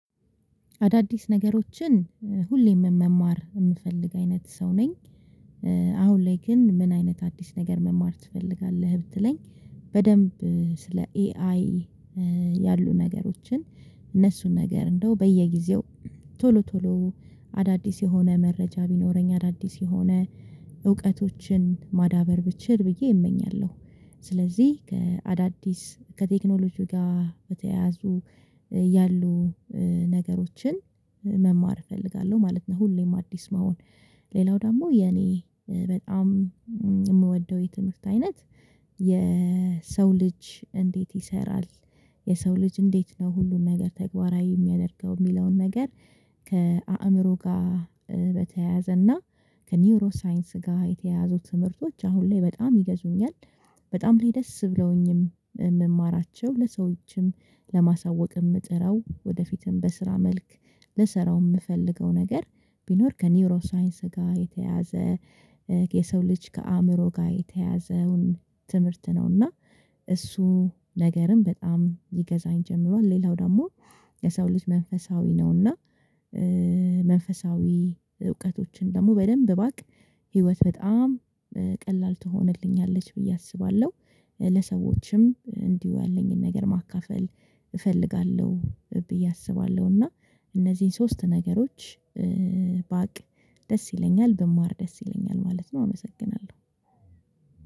አዳዲስ ነገሮችን ሁሌም መማር የምፈልግ አይነት ሰው ነኝ። አሁን ላይ ግን ምን አይነት አዲስ ነገር መማር ትፈልጋለህ? ብትለኝ በደንብ ስለ ኤአይ ያሉ ነገሮችን እነሱን ነገር እንደው በየጊዜው ቶሎ ቶሎ አዳዲስ የሆነ መረጃ ቢኖረኝ አዳዲስ የሆነ እውቀቶችን ማዳበር ብችል ብዬ እመኛለሁ ስለዚህ ከአዳዲስ ከቴክኖሎጂው ጋር በተያያዙ ያሉ ነገሮችን መማር እፈልጋለሁ ማለት ነው። ሁሌም አዲስ መሆን ሌላው ደግሞ የኔ በጣም የትምህርት አይነት የሰው ልጅ እንዴት ይሰራል? የሰው ልጅ እንዴት ነው ሁሉን ነገር ተግባራዊ የሚያደርገው የሚለውን ነገር ከአእምሮ ጋር በተያያዘና ከኒውሮ ሳይንስ ጋር የተያያዙት ትምህርቶች አሁን ላይ በጣም ይገዙኛል። በጣም ላይ ደስ ብለውኝም የምማራቸው ለሰዎችም ለማሳወቅም እጥረው ወደፊትም በስራ መልክ ልሰራው የምፈልገው ነገር ቢኖር ከኒውሮ ሳይንስ ጋር የተያዘ የሰው ልጅ ከአእምሮ ጋር የተያዘውን ትምህርት ነውና እሱ ነገርም በጣም ይገዛኝ ጀምሯል። ሌላው ደግሞ የሰው ልጅ መንፈሳዊ ነውና። መንፈሳዊ እውቀቶችን ደግሞ በደንብ ባቅ ህይወት በጣም ቀላል ትሆንልኛለች ብዬ አስባለሁ። ለሰዎችም እንዲሁ ያለኝን ነገር ማካፈል እፈልጋለሁ ብዬ አስባለሁ። እና እነዚህን ሶስት ነገሮች ባቅ ደስ ይለኛል ብማር ደስ ይለኛል ማለት ነው። አመሰግናለሁ